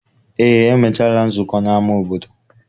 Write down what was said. Eé, emechaala nzụko n'ama obodo.